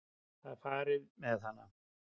Það var farið með hana.